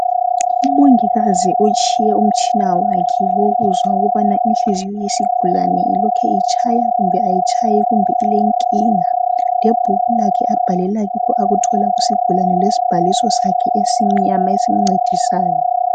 Umongikazi utshiye umtshina wakhe wokuzwa ukuba Inhliziyo yesigulane lokhe itshaya kumbe ayitshayi ,kumbe ilenkinga. Lebhuku lakhe abhalela kikho akuthola kusigulane lesibhaliso sakhe esimnyama esimncedisayo.